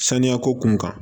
Saniya ko kun kan